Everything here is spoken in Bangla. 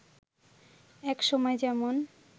এক সময় যেমন